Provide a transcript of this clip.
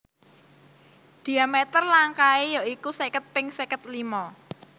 Dhiameter langkae ya iku seket ping seket limo